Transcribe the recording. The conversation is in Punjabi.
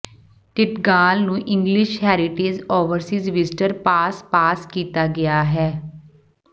ਟਿੰਟਗਾਲ ਨੂੰ English Heritage Overseas Visitor Pass pass ਕੀਤਾ ਗਿਆ ਹੈ